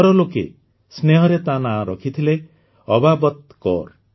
ଘର ଲୋକେ ସ୍ନେହରେ ତା ନାଁ ରଖିଥିଲେ ଅବାବତ୍ କୌର